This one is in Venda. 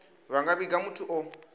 vha nga vhiga muthu o